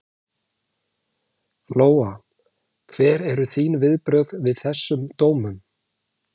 Lóa: Hver eru þín viðbrögð við þessum dómum?